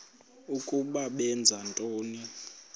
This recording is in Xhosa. ukuba benza ntoni